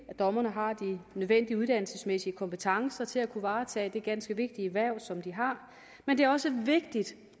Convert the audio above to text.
at dommerne har de nødvendige uddannelsesmæssige kompetencer til at kunne varetage det ganske vigtige hverv som de har men det er også vigtigt